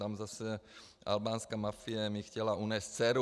Tam zase albánská mafie mi chtěla unést dceru.